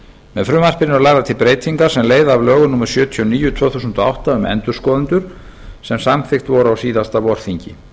með frumvarpinu eru lagðar til breytingar sem leiða af lögum númer sjötíu og níu tvö þúsund og átta um endurskoðendur sem samþykkt voru á síðasta vorþingi